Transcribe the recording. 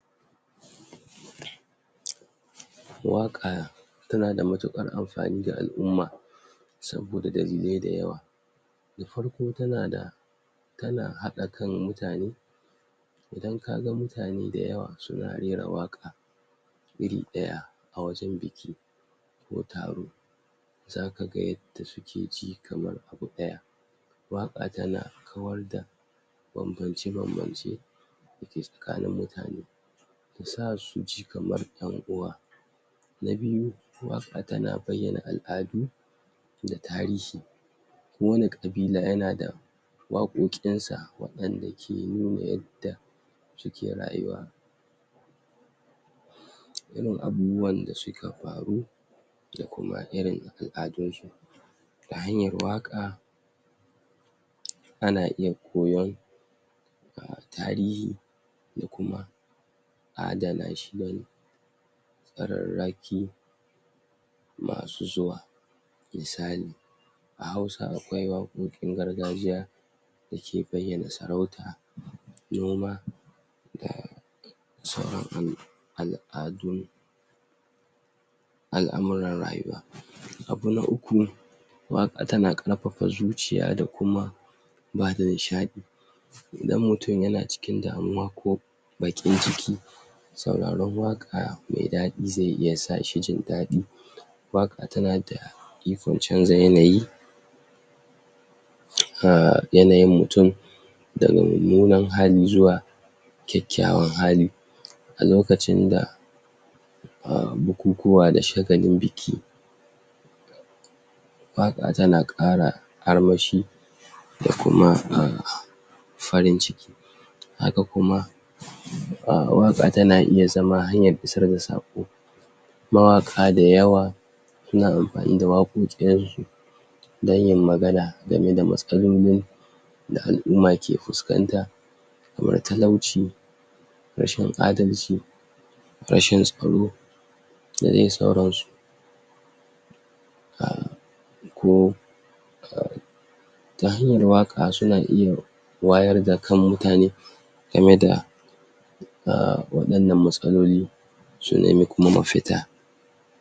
? waƙa tana da matuƙar amfani ga al'umma saboda dalilai dayawa na farko tana da tana haɗa kan mutane idan kaga mutane dayawa suna rera waƙa iri ɗaya a wajen biki ko taro zaka ga yadda suke ji kamar abu ɗaya waƙa tana kawar da bambamce bambamce dake tsakanin mutane yasa suji kamar ƴan uwa na biyu waƙa tana bayyana al'adu da tarihi ko wani ƙabila yana da waƙoƙinsa waɗanda ke nuna yadda suke rayuwa irin abubuwan da suka faru da kuma irin al'adunsu ta hanyar waƙa? ana iya koyon um tarihi da kuma adana shi bane a rarraki masu zuwa misali a hausa akwai waƙoƙin gargajiya dake bayyana sarauta noma da saura al'a al'adun al'amuran rayuwa abu na uku waƙa tana karpapa zuciya da kuma bada nishaɗi idan mutun yana cikin damuwa ko baƙin ciki sauraron waƙa me daɗi ze iya sa shi jin daɗi waƙa tana da ikon canza yanayi um yanayin mutun daga mummunan hali zuwa kyakkyawan hali a lokacin da um bukukuwa da shagalin biki waƙa tana ƙara armashi da kuma um farin ciki haka kuma? um waƙa tana iya zama hanyar isar da saƙo mawaƙa dayawa suna ampani da waƙoƙin su dan yin magana game da matsalolin da al'uma ke fuskanta kamar talauci rashin adalci rashin tsaro da de sauransu um ko? ta hanyar waƙa suna iya wayar da kan mutane game da um waɗannan matsaloli su nemi kuma mafita